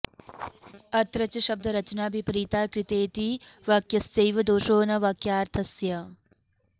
अत्र च शब्दरचना विपरीता कृतेति वाक्यस्यैव दोषो न वाक्यार्थस्य